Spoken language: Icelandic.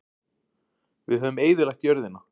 Við höfum eyðilagt jörðina.